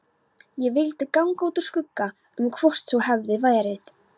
Ég vildi ganga úr skugga um hvort svo hefði verið.